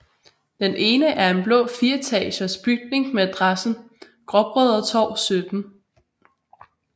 Den ene er en blå fireetages bygning med adressen Gråbrødretorv 17